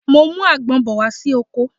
Mo ń mú àgbon bọ̀ wá sí oko